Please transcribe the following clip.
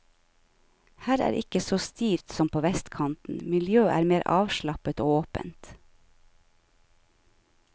Her er ikke så stivt som på vestkanten, miljøet er mer avslappet og åpent.